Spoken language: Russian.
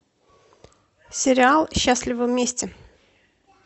сериал счастливы вместе